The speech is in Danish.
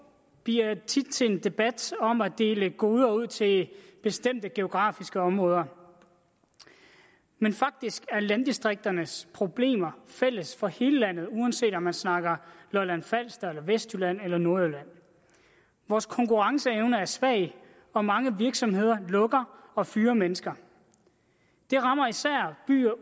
bliver tit til en debat om at dele goder ud til bestemte geografiske områder men faktisk er landdistrikternes problemer fælles for hele landet uanset om man snakker lolland falster eller vestjylland eller nordjylland vores konkurrenceevne er svag og mange virksomheder lukker og fyrer mennesker det rammer især byer